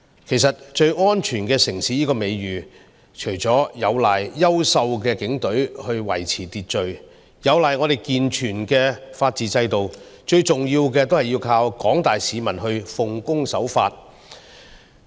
其實，最安全城市這個美譽，除了有賴優秀的警隊維持秩序，有賴我們健全的法治制度，最重要的是依靠廣大市民奉公守法。